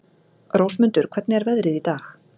Rósmundur, hvernig er veðrið í dag?